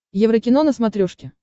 еврокино на смотрешке